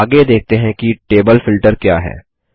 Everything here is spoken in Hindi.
आगे देखते हैं कि टेबल फ़िल्टर क्या है